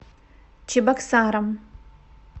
чебоксарам